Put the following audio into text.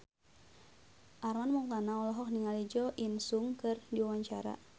Armand Maulana olohok ningali Jo In Sung keur diwawancara